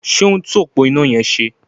Ṣé ó ń tún òpó iná yẹn ṣe?